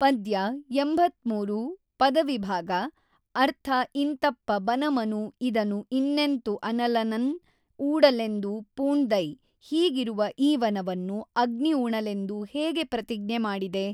ಪದ್ಯ ೮೩ ಪದವಿಭಾಗ ಅರ್ಥ ಇಂತಪ್ಪ ಬನಮನು ಇದನು ಇನ್ನೆಂತು ಅನಲನನ್ ಊಡಲೆಂದು ಪೂಣ್ದಯ್ ಹೀಗಿರುವ ಈ ವನವನ್ನು ಅಗ್ನಿ ಉಣಲೆಂದು ಹೇಗೆ ಪ್ರತಿಜ್ಞೆ ಮಾಡಿದೆ?